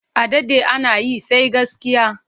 A daɗe ana yi, sai gaskiya.